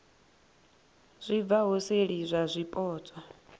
zwi bvaho seli zwa zwipotso